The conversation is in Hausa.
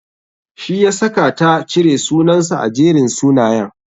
Shi yasaka ta cire sunansa a Jerin sunayen.